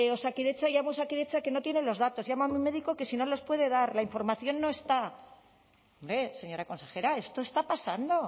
osakidetza llamo a osakidetza que no tienen los datos llamo a mi médico que si no los puede dar la información no está hombre señora consejera esto está pasando